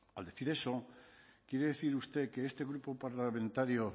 vale al decir eso quiere decir usted que este grupo parlamentario